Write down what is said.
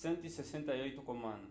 168 k'omanu